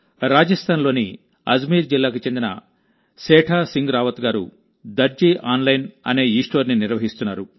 రాజస్థాన్లోని అజ్మీర్ జిల్లాకు చెందిన సేఠా సింగ్ రావత్ గారుదర్జీ ఆన్లైన్ అనే ఈస్టోర్ని నిర్వహిస్తున్నారు